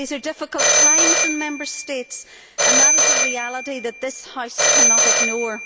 These are difficult times in Member States and that is a reality that this House cannot ignore.